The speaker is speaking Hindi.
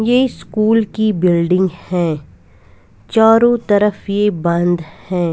ये स्कूल की बिल्डिंग हैं चारों तरफ ये बंद है।